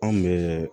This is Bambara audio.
Anw bɛ